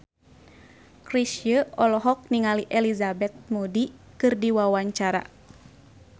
Chrisye olohok ningali Elizabeth Moody keur diwawancara